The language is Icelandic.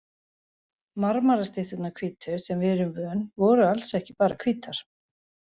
Marmarastytturnar hvítu, sem við erum vön, voru alls ekki bara hvítar.